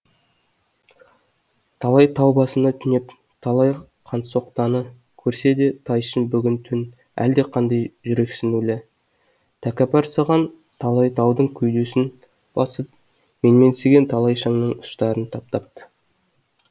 талай тау басында түнеп талай қансоқтаны көрсе де тайшын бүгін түн әлдеқандай жүрексінулі тәкаппарсыған талай таудың кеудесін басып менменсінген талай шыңның ұшарын таптапты